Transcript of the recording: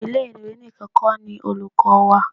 Ile-iwe nìkan kó ni olùkọ́ wà.